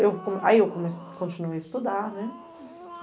Eu, aí eu comecei, continuei a estudar, né?